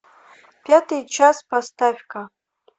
пятый час поставь ка